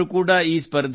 ಹೇ Veera Narasimha